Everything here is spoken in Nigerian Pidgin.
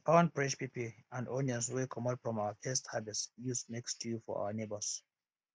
i pound fresh pepper and onions wey comot from our first harvest use make stew for our neighbors